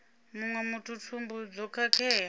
muṅwe muthu thumbu zwo khakhea